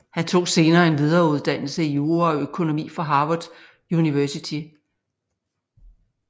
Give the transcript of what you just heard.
Han tog senere en videreuddannelse i jura og økonomi fra Harvard University